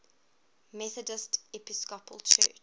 methodist episcopal church